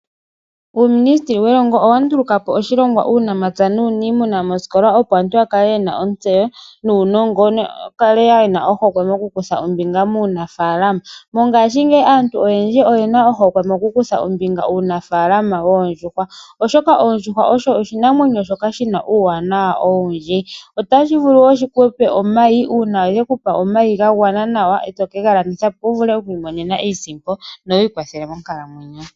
Uuministili welongo owandulukapo oshilonga uunamapya nuunimuna mooskola opo aantu yakale yena otsewo nunongo noyakale yena ohokwe mokukutha ombinga muunafalama , mongashi ngeyi aantu oyendji oyena ohokwe mokukutha ombinga uunafalama wondjuhwa, oshoka oondjuhwa osho oshinamwenyo shoka shina uwanawa owundji, otashivulu wo shikupe omayi una shekupa omayi ngangwana nawa oto kengalandithapo wuvule okwimonena iisipo nowikwathele monkalamwenyo.